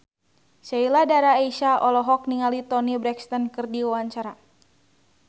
Sheila Dara Aisha olohok ningali Toni Brexton keur diwawancara